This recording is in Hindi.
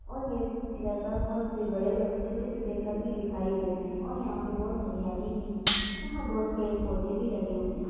और ये इधर पर बहुत से बड़े-बड़े छोटे-छोटे घर भी दिखाई दे रहे हैं और यहाँ पे बहुत हरियाली भी है यहाँ बहुत पेड़-पौधे भी लगे हुए हैं।